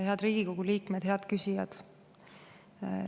Head Riigikogu liikmed!